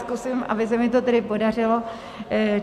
Zkusím, aby se mi to tedy podařilo.